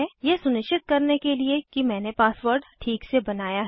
यह सुनिश्चित करने के लिए कि मैंने पासवर्ड ठीक से बनाया है